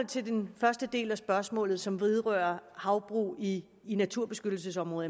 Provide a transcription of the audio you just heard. til den første del af spørgsmålet som vedrører havbrug i i naturbeskyttelsesområder